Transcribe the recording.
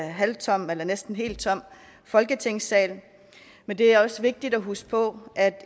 en halvtom eller næsten helt tom folketingssal men det er også vigtigt at huske på at